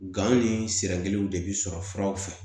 Gan ni sira kelenw de bi sɔrɔ furaw fɛ